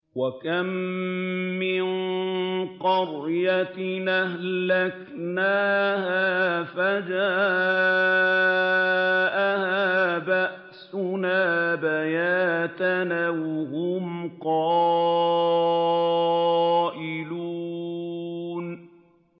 وَكَم مِّن قَرْيَةٍ أَهْلَكْنَاهَا فَجَاءَهَا بَأْسُنَا بَيَاتًا أَوْ هُمْ قَائِلُونَ